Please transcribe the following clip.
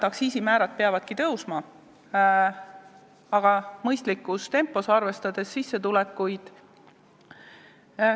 Aktsiisimäärad peavadki tõusma, aga mõistlikus tempos, arvestades sissetulekuid.